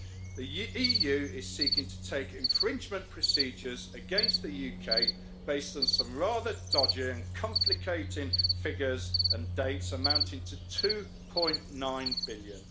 The EU is seeking to take infringement procedures against the UK based on some rather dodgy and conflicting figures and dates amounting to EUR 2.9 billion.